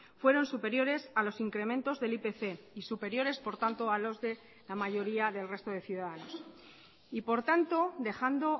fueron superiores a los incrementos del ipc y superiores por tanto a los de la mayoría del resto de ciudadanos y por tanto dejando